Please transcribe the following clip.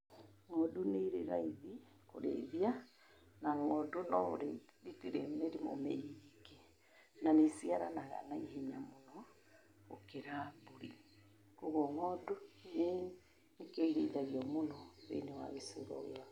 Ng'ondu nĩ irĩ raithi kũrĩithia, na ng'ondu no ũrĩithi itirĩ mĩrimũ mĩingĩ, na nĩ iciaranaga naihenya mũno gũkĩra mbũri. Kwoguo ng'ondu nĩkĩo irĩithagio mũno thĩinĩ wa gĩcigo gĩakwa.